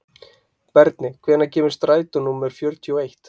Berni, hvenær kemur strætó númer fjörutíu og eitt?